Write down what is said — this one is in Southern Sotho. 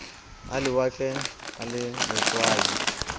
a lewatle a le letswai